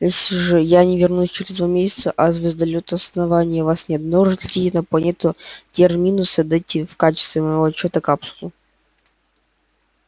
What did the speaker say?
если же я не вернусь через два месяца а звездолёты основания вас не обнаружат летите на планету терминус и отдайте в качестве моего отчёта капсулу